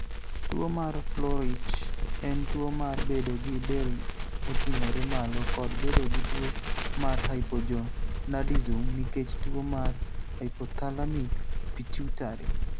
Tuo mar Froelich en tuwo mar bedo gi del moting'ore malo kod bedo gi tuo mar hypogonadism nikech tuo mar hypothalamic pituitary.